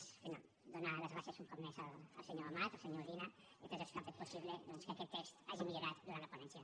bé donar les gràcies un cop més al senyor amat al senyor udina i a tots els que han fet possible doncs que aquest text hagi millorat durant la ponència